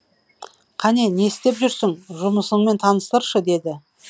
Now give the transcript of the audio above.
қане не істеп жүрсің жұмысыңмен таныстыршы деді